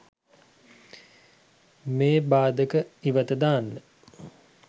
මේ භාධක ඉවත දාන්න